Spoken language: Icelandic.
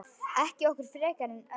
Ekki okkur frekar en öðrum.